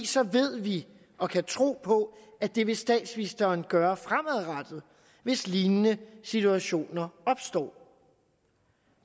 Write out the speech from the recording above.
så ved vi og kan tro på at det vil statsministeren gøre fremadrettet hvis lignende situationer opstår